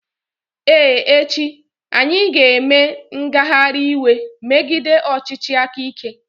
Ee echi, anyị ga-eme ngagharị iwe megide ọchịchị aka ike.